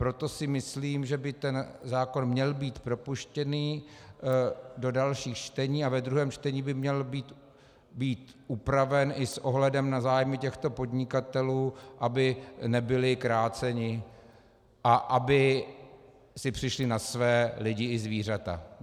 Proto si myslím, že by ten zákon měl být propuštěný do dalšího čtení a ve druhém čtení by měl být upraven i s ohledem na zájmy těchto podnikatelů, aby nebyli kráceni a aby si přišli na své lidi i zvířata.